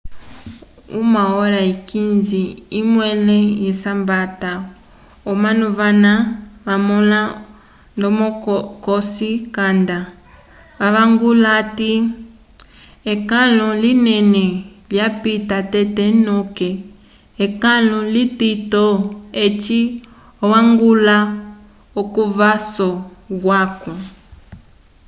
1:15 lyomẽle lyesambata omanu vana vamõla ndomo cosi canda vavangula hati ekãlu linene lyapita tete noke ekãlo litito eci añgwãla k'ovaso yaco